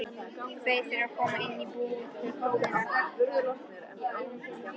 Kveið fyrir að koma inn í íbúðina.